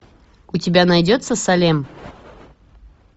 у тебя найдется салем